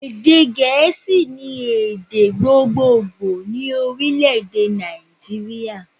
Èdè gèésì ni èdè gbogbogbò ni Orílèdè Nàìjíríà